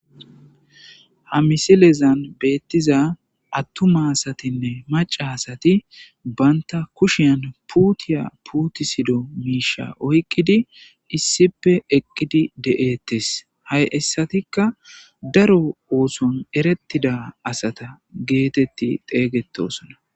ha misilezan beettiza attuma asatinne maca asati banta kushiyan puutiya putisido miisha oyqqidi issipe eqqidi de7ettes hay issatikka daro ooson erettida asata geetetti xeygetosona